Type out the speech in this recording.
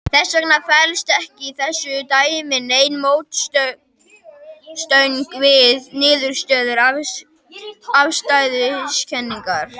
Þess vegna felst ekki í þessu dæmi nein mótsögn við niðurstöður afstæðiskenningarinnar.